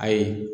Ayi